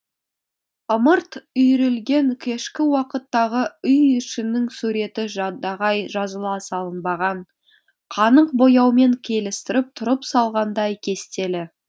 ымырт үйірілген кешкі уақыттағы үй ішінің суреті жадағай жазыла салынбаған қанық бояумен келістіріп тұрып салғандай кестелі